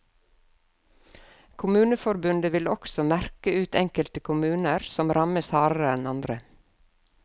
Kommuneforbundet vil også merke ut enkelte kommuner som rammes hardere enn andre.